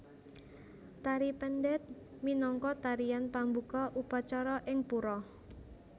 Tari Pendet minangka tarian pambuka upacara ing pura